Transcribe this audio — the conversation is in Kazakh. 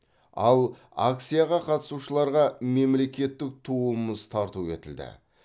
ал акцияға қатысушыларға мемлекеттік туымыз тарту етілді